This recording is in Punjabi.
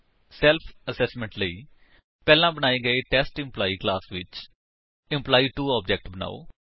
ਸੇਲ੍ਫ਼ ਅਸ੍ਸੇਸ੍ਮੇੰਟ ਦੇ ਲਈ ਪਹਿਲਾਂ ਬਣਾਏ ਗਏ ਟੈਸਟ ਐਂਪਲਾਈ ਕਲਾਸ ਵਿੱਚ ਇੱਕ ਇੰਪ2 ਆਬਜੇਕਟ ਬਨਾਓ